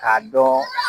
K'a dɔn